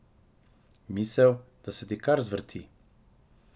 Misel, da se ti kar zvrti.